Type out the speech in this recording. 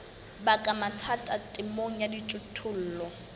baka mathata temong ya dijothollo